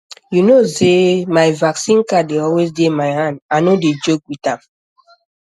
you know sey my vaccine card dey always dey my hand i no dey joke with am